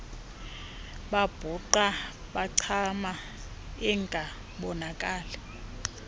babhuqa bancama ingabonakali